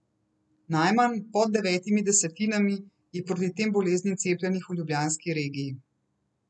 Najmanj, pod devetimi desetinami, je proti tem boleznim cepljenih v ljubljanski regiji.